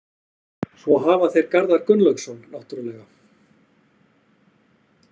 Svo hafa þeir Garðar Gunnlaugsson náttúrulega.